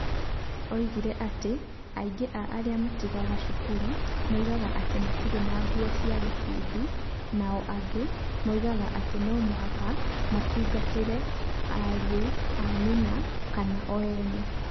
Oigire atĩ aingĩ a arĩa matiganaga cukuru moigaga atĩ matirĩ na nguo cia gĩkundi, nao angĩ moigaga atĩ no mũhaka matungatĩre ariũ a nyina kana o ene.